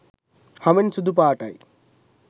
හමෙන් සුදු පාටයි